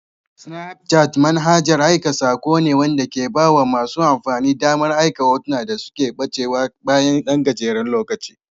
Snapchat manhajar ai sako ne wanda ke ba masu amfani damar aika hotuna da suke ɓacewa bayan ɗan gajeren lokaci.